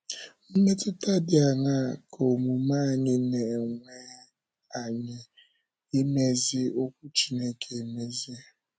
Mmetụta dị aṅaa ka omume anyị na - enwe anyị, ị mezi Okwu Chineke émezi?